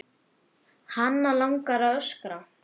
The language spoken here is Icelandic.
Hana langar að öskra.